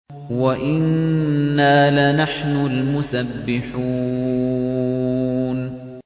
وَإِنَّا لَنَحْنُ الْمُسَبِّحُونَ